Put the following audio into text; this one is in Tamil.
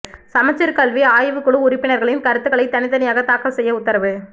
சமச்சீர் கல்வி ஆய்வுக் குழு உறுப்பினர்களின் கருத்துக்களை தனித் தனியாக தாக்கல் செய்ய உத்தரவு